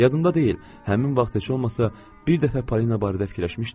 Yadımda deyil, həmin vaxt heç olmasa bir dəfə Polina barədə fikirləşmişdimmi?